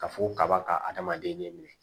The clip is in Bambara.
Ka fogo kaba ka adamaden ne minɛ